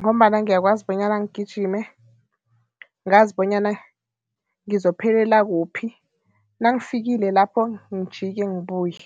ngombana ngiyakwazi bonyana ngigijime, ngazi bonyana ngizophelela kuphi, nangifikile lapho, ngijike ngibuye